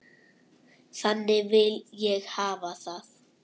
Þannig vil ég hafa það.